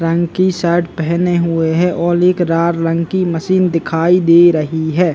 रंग की शर्ट पहने हुए है और एक रार रंग की मशीन दिखाई दे रही है।